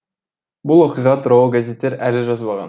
бұл оқиға туралы газеттер әлі жазбаған